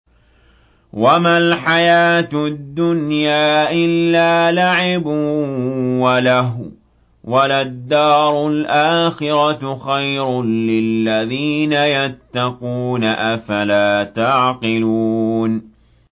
وَمَا الْحَيَاةُ الدُّنْيَا إِلَّا لَعِبٌ وَلَهْوٌ ۖ وَلَلدَّارُ الْآخِرَةُ خَيْرٌ لِّلَّذِينَ يَتَّقُونَ ۗ أَفَلَا تَعْقِلُونَ